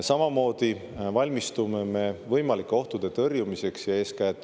Samamoodi valmistume me võimalike ohtude tõrjumiseks.